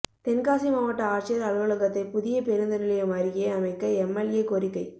தென்காசி மாவட்ட ஆட்சியா் அலுவலகத்தை புதிய பேருந்து நிலையம் அருகே அமைக்க எம்எல்ஏ கோரிக்கை